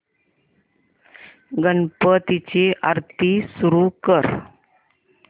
गणपती ची आरती सुरू कर